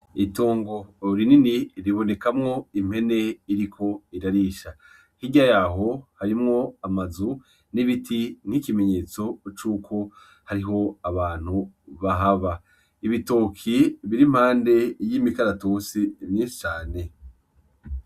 Itongo rinini ribonekamwo impene iriko irarisha, hirya yaho harimwo amazu n'ibiti n'ikimenyetso cuko hariho abantu bahaba, ibitoke bir'impande y'imikaratusi mwinshi cane.